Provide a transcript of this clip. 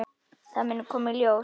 Það mun koma í ljós.